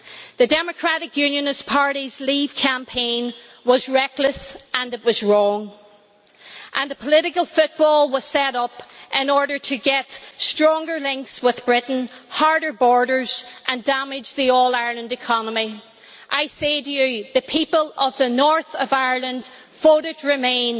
The Democratic Unionist Party's Leave campaign was reckless and it was wrong, and the political football was set up in order to get stronger links with Britain, harder borders and damage the all Ireland economy. I say to you the people of the North of Ireland voted to remain,